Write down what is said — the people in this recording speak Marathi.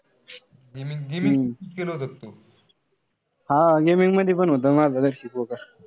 Gaming-gaming केलं होत का तू?